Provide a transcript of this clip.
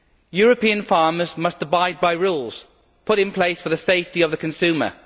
European farmers must abide by rules put in place for the safety of the consumer.